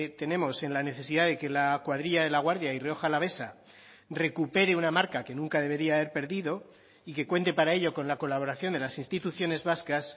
tenemos en la necesidad de que la cuadrilla de laguardia y rioja alavesa recupere una marca que nunca debería haber perdido y que cuente para ello con la colaboración de las instituciones vascas